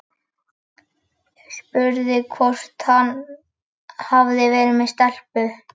Spurði hvort hann hefði verið með stelpu.